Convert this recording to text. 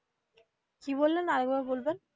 কি বললেন আরেকবার বলবেন.